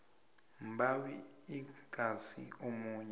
mbawi ingasi omunye